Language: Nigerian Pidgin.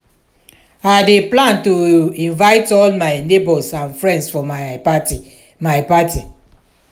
i dey plan to invite all my neighbors and friends for my party. my party.